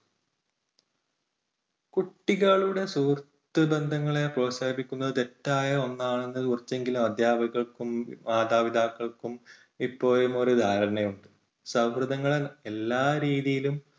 കുട്ടികളുടെ സുഹൃത്ത് ബന്ധങ്ങളെ പ്രോത്സാഹിപ്പിക്കുന്നത് തെറ്റായ ഒന്നാണെന്ന് കുറച്ചെങ്കിലും അധ്യാപകർക്കും മാതാപിതാക്കൾക്കും ഇപ്പോഴും ഒരു ധാരണയുണ്ട്. സൗഹൃദങ്ങളെ എല്ലാ രീതിയിലും